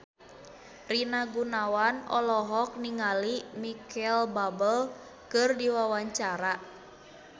Rina Gunawan olohok ningali Micheal Bubble keur diwawancara